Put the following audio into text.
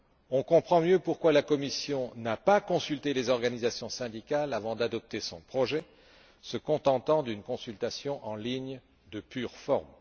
On comprend mieux pourquoi la Commission n'a pas consulté les organisations syndicales avant d'adopter son projet, se contentant d'une consultation en ligne, de pure forme.